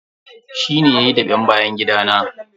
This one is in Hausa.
Shi ne yayi daɓen bayan gida na.